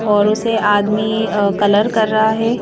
और उसे आदमी अअकलर कर रहा है।